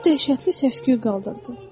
O dəhşətli səs-küy qaldırdı.